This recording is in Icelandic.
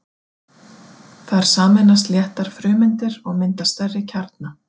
Þar sameinast léttar frumeindir og mynda stærri kjarna.